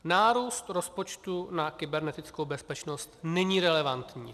Nárůst rozpočtu na kybernetickou bezpečnost není relevantní.